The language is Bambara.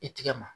I tigɛ ma